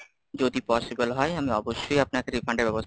যদি possible হয় আমি অবশ্যই আপনাকে refunds এর ব্যবস্থা,